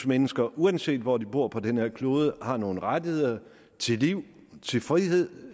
mennesker uanset hvor de bor på den her klode har nogle rettigheder til liv til frihed